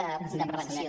de prevenció